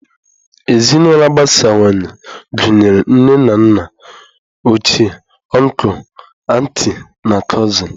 Ezinụlọ agbasawanye gụnyere nne na nna ochie, ọncụl, antị, na cụsịn.